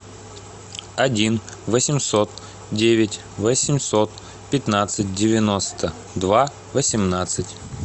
один восемьсот девять восемьсот пятнадцать девяносто два восемнадцать